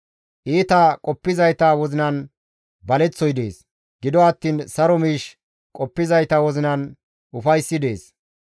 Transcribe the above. Iita qoppizayta wozinan baleththoy dees; gido attiin saro miish qoppizayta wozinan ufayssi dees.